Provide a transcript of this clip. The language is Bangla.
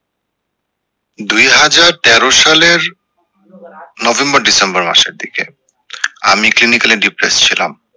দুই হাজার তেরো সালের নভেম্বর ডিসেম্বর মাসের দিকে আমি clinically depress ছিলাম